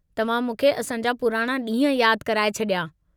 तव्हां मूंखे असांजा पुराणा ॾींहं यादु कराऐ छडि॒या।